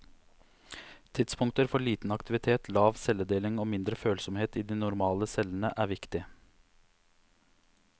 Tidspunkter for liten aktivitet, lav celledeling og mindre følsomhet i de normale cellene, er viktig.